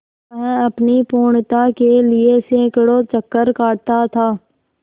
वह अपनी पूर्णता के लिए सैंकड़ों चक्कर काटता था